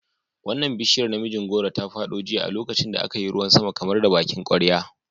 Wannan bishiyar namijin goro ta fado jiya a lokacin da aka yi ruwan sama kamar da bakin kwarya.